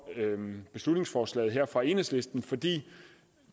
beslutningsforslaget fra enhedslisten fordi